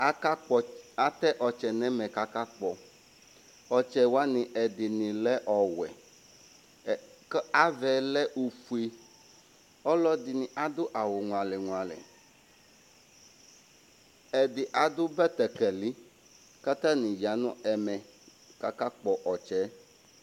Akakpɔ ɔts, atɛ ɔtsɛ nʋ ɛmɛ kʋ akakpɔ Ɔtsɛ wanɩ ɛdɩnɩ lɛ ɔwɛ ɛ k ava yɛ lɛ ofue Ɔlɔdɩnɩ adʋ awʋ ŋualɛ-ŋualɛ Ɛdɩ adʋ bɛtɛkɛlɩ kʋ atanɩ ya nʋ ɛmɛ kʋ akakpɔ ɔtsɛ yɛ